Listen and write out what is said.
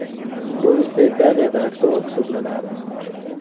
Bu esa Italiyada aktual hisoblanadi.